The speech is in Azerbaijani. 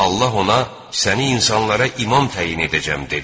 Allah ona: "Səni insanlara imam təyin edəcəm" dedi.